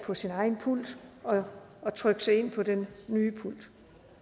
for sin egen pult og trykke sig ind på den nye pult